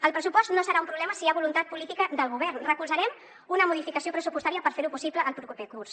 el pressupost no serà un problema si hi ha voluntat política del govern recolzarem una modificació pressupostària per ferho possible el proper curs